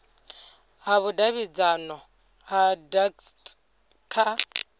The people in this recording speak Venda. ha vhudavhidzano ha dacst kha